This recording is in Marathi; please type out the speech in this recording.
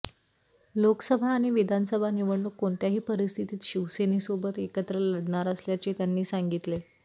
लोकसभा आणि विधानसभा निवडणूक कोणत्याही परिस्थितीत शिवसेनेसोबत एकत्र लढणार असल्याचे त्यांनी सांगितले